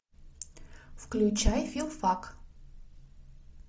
включай филфак